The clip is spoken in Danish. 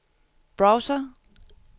browser